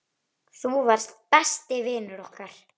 Þú varst besti vinur okkar.